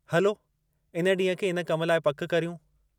हलो इन ॾींहं खे इन कम लाइ पकि करियूं।